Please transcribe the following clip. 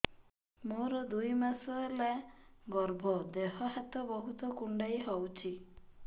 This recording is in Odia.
ମୋର ଦୁଇ ମାସ ହେଲା ଗର୍ଭ ଦେହ ହାତ ବହୁତ କୁଣ୍ଡାଇ ହଉଚି